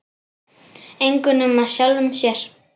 Engum nema sjálfum sér.